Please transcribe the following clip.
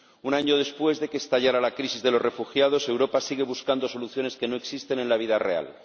Un año después de que estallara la crisis de los refugiados Europa sigue buscando soluciones que no existen en la vida real.